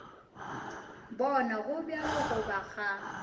bona go bjalo goba ga